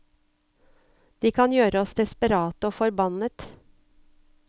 De kan gjøre oss desperate og forbannet.